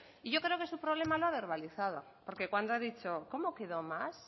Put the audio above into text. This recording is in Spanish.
y yo creo que su problema lo ha verbalizado cuando ha dicho cómo quedó más